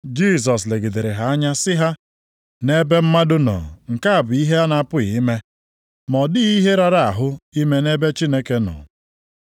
Jisọs legidere ha anya sị ha, “Nʼebe mmadụ nọ nke a bụ ihe a na-apụghị ime, ma ọ dịghị ihe rara ahụ ime nʼebe Chineke nọ.”